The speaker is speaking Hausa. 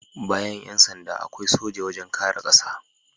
Bayan Yan sanda, akwai soja wajen kare ƙasa